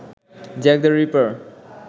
Jack the reaper